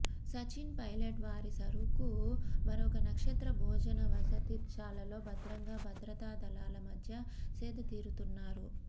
సచిన్ పైలట్ వారి సరుకు మరొక నక్షత్ర భోజనవసతిశాలలో భద్రంగా భద్రతా దళాల మధ్య సేదతీరుతున్నారు